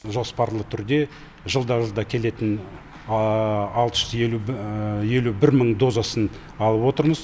жоспарлы түрде жылда жылда келетін алты жүз елу елу бір мың дозасын алып отырмыз